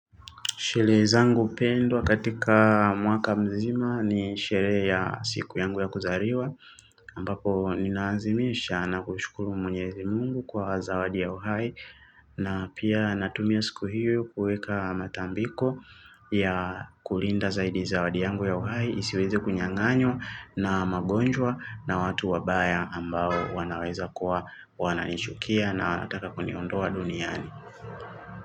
Sherehe zangu pendwa katika mwaka mzima ni sherehe ya siku yangu ya kuzariwa, ambapo ninaazimisha na kushukuru mwenyezi mungu kwa zawadi ya uhai, na pia natumia siku hiyo kuweka matambiko ya kulinda zaidi zawadi yangu ya uhai, isiweze kunyanganywa na magonjwa na watu wabaya ambao wanaweza kuwa wananichukia na wataka kuniondoa duniani.